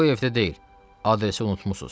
Bu evdə deyil, adresi unutmusuz.